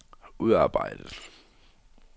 udarbejdet